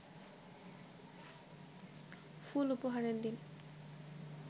ফুল উপহারের দিন